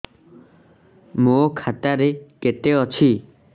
ମୋ ଖାତା ରେ କେତେ ଅଛି